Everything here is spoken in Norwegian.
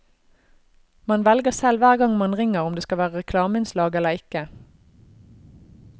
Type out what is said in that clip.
Man velger selv hver gang man ringer om det skal være reklameinnslag eller ikke.